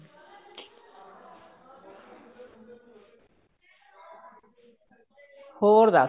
ਹੋਰ ਦੱਸ